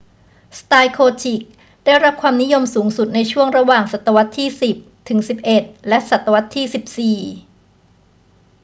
สไตล์โกธิคได้รับความนิยมสูงสุดในช่วงระหว่างศตวรรษที่ 10 ถึง 11 และศตวรรษที่ 14